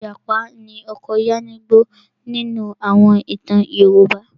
Ìjàpá ni ọkọ Yánníbo nínú àwọn ìtàn Yorùbá.